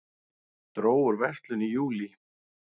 Dró úr verslun í júlí